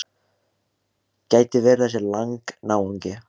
Gæti verið þessi Lang-náungi.